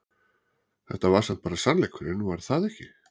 Þetta var samt bara sannleikurinn var það ekki?